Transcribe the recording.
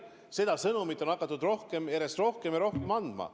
Seda sõnumit on hakatud järjest rohkem ja rohkem edastama.